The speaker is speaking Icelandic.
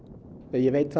ég veit